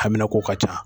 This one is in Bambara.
Hamina k'o ka ca